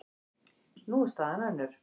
Nú er staðan önnur.